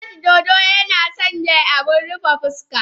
Wash dodo suna sanya abin rufe fuska.